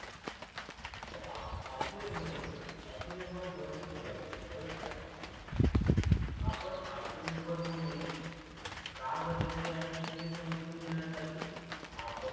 ज आ आत्मनिर्भर म्हणजे काय आत्मनिर्भर होण्याची गर गरज काय आहे आपण आत्मनिर्भर होणे का गरजेचे आहे हे समजून घेण्यासाठी आपण